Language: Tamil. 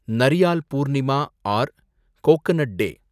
நரியால் பூர்ணிமா ஆர் கோக்கனட் டே